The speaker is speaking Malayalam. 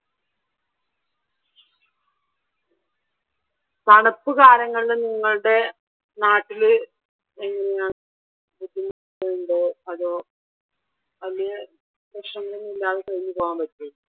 തണുപ്പ് കാലങ്ങളിൽ നിങ്ങളുടെ നാട്ടില് എങ്ങനെയാ ബുദ്ധിമുട്ടുണ്ടോ അതോ അധികം പ്രശ്നങ്ങളൊന്നും ഇല്ലാതെ കഴിഞ്ഞുപോകാൻ പറ്റോ